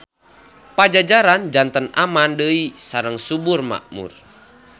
Pajajaran janten aman deui sareng subur makmur.